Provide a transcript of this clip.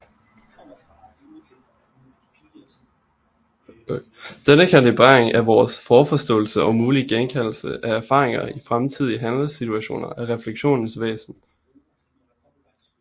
Denne kalibrering af vores forforståelse og mulige genkaldelse af erfaringer i fremtidige handlesituationer er refleksionens væsen